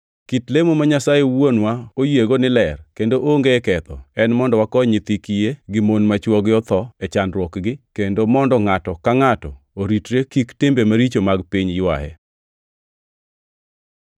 Kit lemo ma Nyasaye Wuonwa oyiego ni ler kendo onge ketho en mondo wakony nyithi kiye gi mon ma chwogi otho e chandruokgi, kendo mondo ngʼato ka ngʼato oritre kik timbe maricho mag piny ywaye.